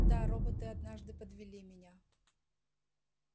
да роботы однажды подвели меня